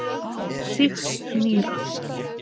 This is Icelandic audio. Sýkt nýra.